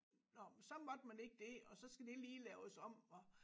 Nåh men så måtte man ikke det og så skal det lige laves om og